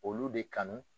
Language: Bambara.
Olu de kanu